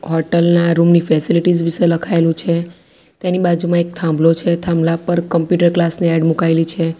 Hotel ના room ની facilities વિસે લખાઇલૂ છે તેની બાજુમાં એક થાંભલો છે થાંભલા પર કમ્પ્યુટર ક્લાસ ની એડ મુકાઈલી છે.